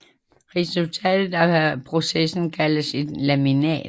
Resultatet af processen kaldes et laminat